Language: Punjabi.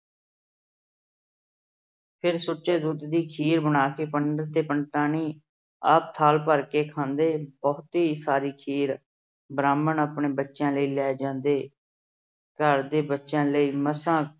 ਫਿਰ ਸੁੱਚੇ ਦੁੱਧ ਦੀ ਖੀਰ ਬਣਾ ਕੇ ਪੰਡਿਤ ਤੇ ਪੰਡਤਾਣੀ ਆਪ ਥਾਲ ਭਰ ਕੇ ਖਾਂਦੇ ਬਹੁਤੀ ਸਾਰੀ ਖੀਰ ਬ੍ਰਾਹਮਣ ਆਪਣੇ ਬੱਚਿਆਂ ਲਈ ਲੈ ਜਾਂਦੇ। ਘਰ ਦੇ ਬੱਚਿਆਂ ਲਈ ਮਸਾ